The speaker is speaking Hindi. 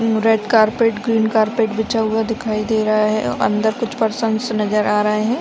New red carpet green carpet बिछा हुआ दिखाई दे रहा है अंदर कुछ पर्सन्स नजर आ रहे है।